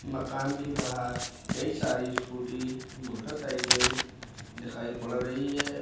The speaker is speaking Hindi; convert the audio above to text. मकान के बाहर कई सारी स्कूटी मोटरसाइकिल दिखाई पड़ रही है।